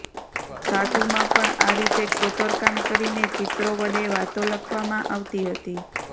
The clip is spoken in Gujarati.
ધાતુમાં પણ આ રીતે કોતરકામ કરીને ચિત્રો વડે વાતો લખવામાં આવતી હતી